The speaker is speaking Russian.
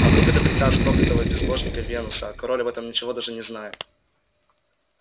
а вдруг это приказ проклятого безбожника венуса а король об этом ничего даже не знает